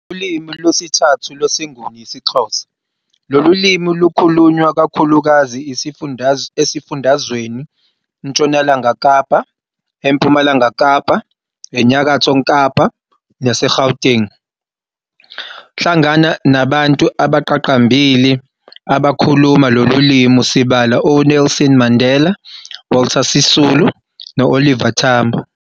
Ulimi lwesithathu lwesiNguni yisiXhosa, lolu limi lukhulunywa kakhulukazi esifundazweniNtshonalanga Kapa, eMpumalanga kapa, eNyakatho kapa naseGauteng. Hlangana nabantu abaqaqambile abakhuluma lolu limi sibala oNelson Mandela, Walter Sisulu no-Oliver Tambo.